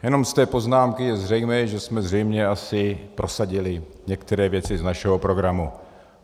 - Jenom z té poznámky je zřejmé, že jsme zřejmě asi prosadili některé věci z našeho programu.